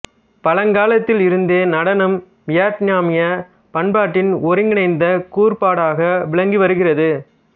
பழங்காலத்தில் இருந்தே நடனம் வியட்நாமியப் பண்பாட்டின் ஒருங்கிணைந்த கூறுபாடாக விளங்கி வருகிறது